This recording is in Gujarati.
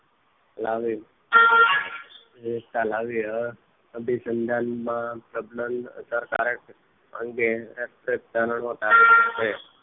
લાવી સમયે લાવી રહ્યા અભિસંધાન માં સબ્લમ અસરકારક અંગે એક જ કારણો લાવી